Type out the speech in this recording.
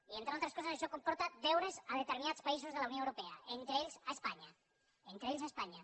i entre altres coses això comporta deures a determinats països de la unió europea entre ells a espanya entre ells a espanya